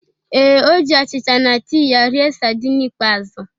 Ee, O ji achịcha na tii ya rie sardine ikpeazụ.